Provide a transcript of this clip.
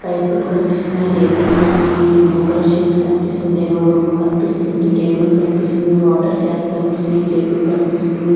పైపులు కనిపిస్తున్నాయి రేకులు కనిపిస్తుంది బ్లూ కలర్ షీట్ కనిపిస్తుంది దేవుడి బొమ్మ కనిపిస్తుంది టేబుల్ కనిపిస్తుంది వాటర్ క్యాన్స్ కనిపిస్తున్నాయి జగ్గు కనిపిస్తుంది.